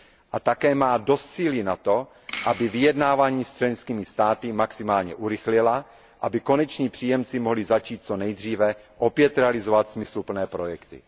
A také má dost síly na to, aby vyjednávání s členskými státy maximálně urychlila, aby koneční příjemci mohli začít co nejdříve opět realizovat smysluplné projekty.